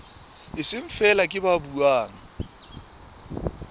seng feela ke ba buang